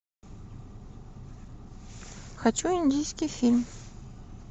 хочу индийский фильм